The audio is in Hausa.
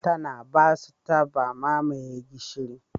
Tana ba su taba mamaye gishiri.